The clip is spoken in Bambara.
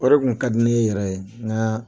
O de kun ka di ne ye yɛrɛ ye nga